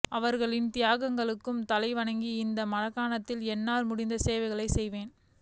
அவர்களின் தியாகங்களுக்கு தலைவணங்கி இந்த மாகாணத்திற்கு என்னால் முடிந்த சேவைகளைச் செய்வேன்